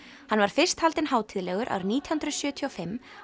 hann var fyrst haldinn hátíðlegur árið nítján hundruð sjötíu og fimm